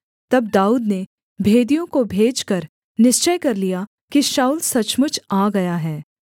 तब दाऊद ने भेदियों को भेजकर निश्चय कर लिया कि शाऊल सचमुच आ गया है